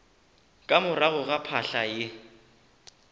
ka morago ga phahla ye